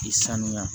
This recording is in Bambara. K'i sanuya